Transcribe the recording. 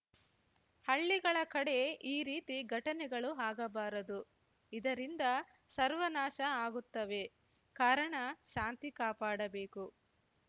ಹಳ್ಳಿಗಳ ಕಡೆ ಈ ರೀತಿ ಘಟನೆಗಳು ಆಗಬಾರದು ಇದರಿಂದ ಸರ್ವನಾಶ ಆಗುತ್ತವೆ ಕಾರಣ ಶಾಂತಿ ಕಾಪಾಡಬೇಕು